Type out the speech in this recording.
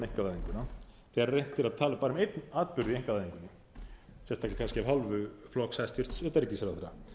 einkavæðinguna þegar reynt er að tala bara um einn atburð í einkavæðingunni sérstaklega kannski af hálfu flokks hæstvirts utanríkisráðherra